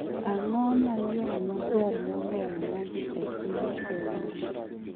Ang�o ma yo maber moloyo ma dhi e piny Kenya?